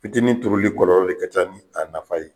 Fitini turuli kɔlɔlɔ de ka ca ni a nafa ye.